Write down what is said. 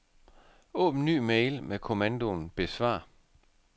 Åbn ny mail med kommandoen besvar.